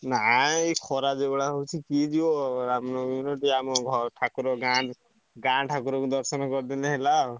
ନାଇଁ ଏଇ ଖରା ଯୋଉଭଳିଆ ହଉଛି କିଏ ଯିବ ରାମନବମୀ ସେଠି ଆମ ଘର ଠାକୁର ଗାଁ ଗାଁ ଠାକୁରଙ୍କୁ ଦର୍ଶନ କରିଦେଲେ ହେଲା ଆଉ।